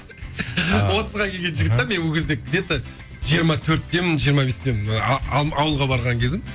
отызға келген жігіт те мен ол кезде где то жиырма төрттемін жиырма бестемін ауылға барған кезім